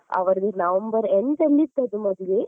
ಅವರದ್ದು November end ಅಲ್ಲಿ ಇದ್ದದ್ದು ಮದುವೆ.